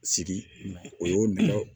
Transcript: Sigi o y'o minɛ